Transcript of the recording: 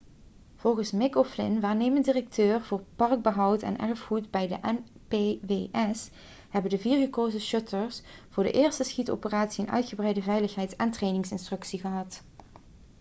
volgens mick o'flynn waarnemend directeur voor parkbehoud en erfgoed bij de npws hebben de vier gekozen schutters voor de eerste schietoperatie een uitgebreide veiligheids en trainingsinstructie gehad